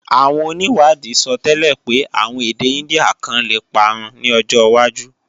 Àwọn onìwádìí sọtẹ́lẹ̀ pé àwọn èdè Índíà kan lè parun ní ọjọwájú